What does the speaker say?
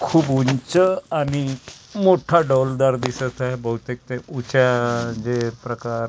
खूप ऊंच आणि मोठा डौलदार दिसत आहे बहुतेक ते उचा जे प्रकार राहतात कोंबड्या --